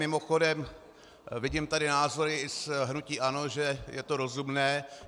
Mimochodem, vidím tady názory i z hnutí ANO, že je to rozumné.